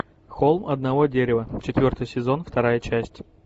холм одного дерева четвертый сезон вторая часть